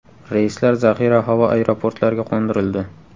Reyslar zaxira havo aeroportlarga qo‘ndirildi.